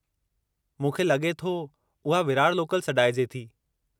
मूंखे लगे॒ थो उहा विरार लोकल सॾाइजे थी।